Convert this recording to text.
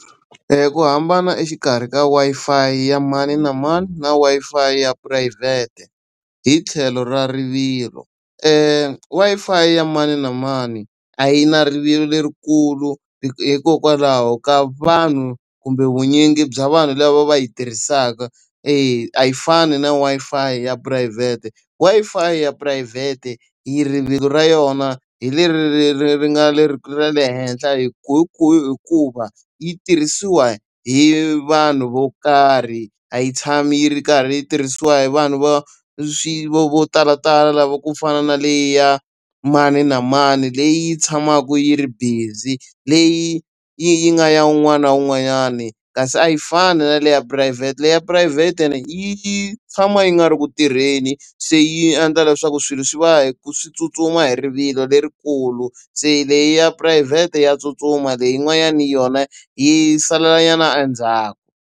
ku hambana exikarhi ka Wi-Fi ya mani na mani na Wi-Fi ya phurayivhete, hi tlhelo ra rivilo. Wi-Fi ya mani na mani a yi na rivilo lerikulu hikokwalaho ka vanhu kumbe vunyingi bya vanhu lava va yi tirhisaka. E, a yi fani na Wi-Fi ya phurayivhete, Wi-Fi ya phurayivhete rivilo ra yona hi leri ri ri nga leri ra le henhla hikuva, yi tirhisiwa hi vanhu vo karhi a yi tshama yi ri karhi yi tirhisiwa hi vanhu va swi vo vo talatala lava ku fana na leyi ya mani na mani leyi tshamaka yi ri busy, leyi yi yi nga ya un'wana na un'wanyani. Kasi a yi fani na leyi ya phurayivhete leyi ya phurayivhete yi tshama yi nga ri ku tirheni se yi endla leswaku swilo swi va hi ku swi tsutsuma hi rivilo lerikulu. Se leyi ya phurayivhete ya tsutsuma leyi yin'wanyani yona yi salelanyana endzhaku.